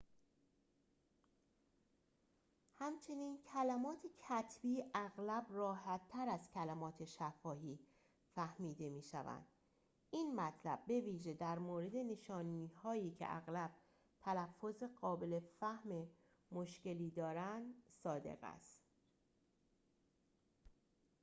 همچنین کلمات کتبی اغلب راحتر از کلمات شفاهی فهمیده می‌شوند این مطلب بویژه در مورد نشانی‌هایی که اغلب تلفظ قابل فهم مشکلی دارند صادق است